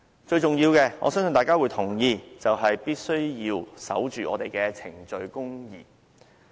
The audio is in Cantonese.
最重要的——我相信大家會同意——就是必須守着我們的程序公義。